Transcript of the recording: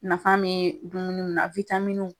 Nafa be dumuni mun na